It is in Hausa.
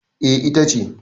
eh ita ce